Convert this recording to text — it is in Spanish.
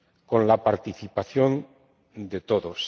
con la participación de todos.